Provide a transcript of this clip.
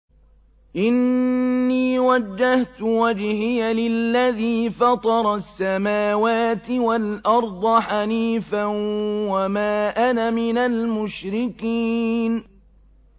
إِنِّي وَجَّهْتُ وَجْهِيَ لِلَّذِي فَطَرَ السَّمَاوَاتِ وَالْأَرْضَ حَنِيفًا ۖ وَمَا أَنَا مِنَ الْمُشْرِكِينَ